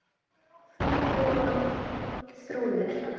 Fríður og Þrúður.